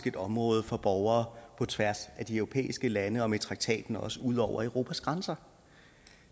et område for borgere på tværs af de europæiske lande og med traktaten også ud over europas grænser